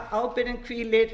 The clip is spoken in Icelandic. ábyrgðin hvílir